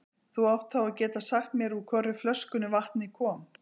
Þú átt þá að geta sagt mér úr hvorri flöskunni vatnið kom.